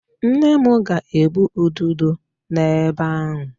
Nne m ga-egbu ududo n'ebe ahu.